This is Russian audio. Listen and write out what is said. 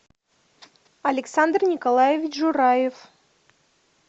александр николаевич жураев